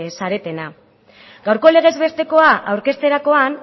zaretena gaurko legez bestekoa aurkezterakoan